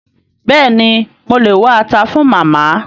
Béèni mo lè wá ata fun Màmá